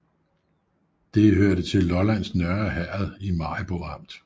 Det hørte til Lollands Nørre Herred i Maribo Amt